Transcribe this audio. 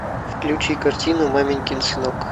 включи картину маменькин сынок